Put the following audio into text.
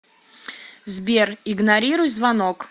сбер игнорируй звонок